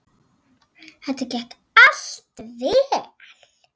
Þetta gekk allt vel.